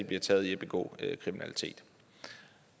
bliver taget i at begå kriminalitet